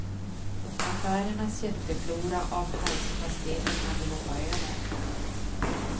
Affärernas jätteflora av halspastiller kan du hoppa över.